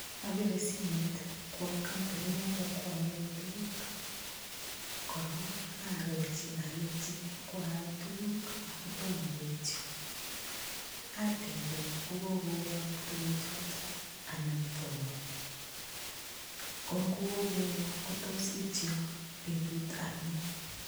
Apire simoit kwo kampunit noto kwoole tukuk korok aarorchi alechi kwaal tukuk akotomo koityo atebe ngokokoyok tukuchoto anan tomo kongokokoyok kotos ityo betut anono